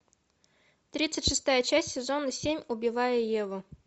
тридцать шестая часть сезона семь убивая еву